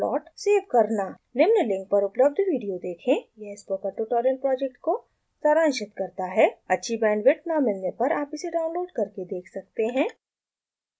निम्न लिंक पर उपलब्ध विडियो देखें यह स्पोकन ट्यूटोरियल प्रॉजेक्ट को सारांशित करता है अच्छी बैंडविड्थ न मिलने पर आप इसे डाउनलोड करके देख सकते हैं